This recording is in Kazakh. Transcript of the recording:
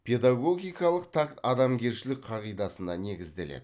педагогикалық такт адамгершілік қағидасына негізделеді